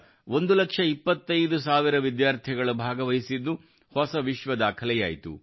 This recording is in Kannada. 25 ಲಕ್ಷ ವಿದ್ಯಾರ್ಥಿಗಳು ಭಾಗವಹಿಸಿದ್ದು ಹೊಸ ವಿಶ್ವ ದಾಖಲೆಯಾಯಿತು